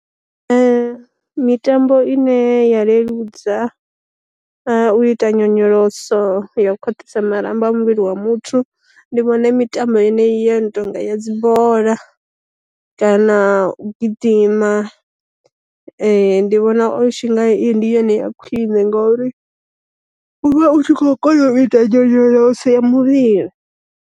Mitambo i ne ya leludza u ita nyonyoloso ya u khwaṱhisa marambo a muvhili wa muthu, ndi vhona mitambo ine ya no tonga ya dzibola, kana u gidima, ndi vhona o tshi nga ndi yone ya khwine ngauri u vha u tshi khou kona u ita nyonyoloso ya muvhili.